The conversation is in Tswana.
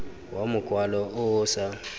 wa mokwalo o o sa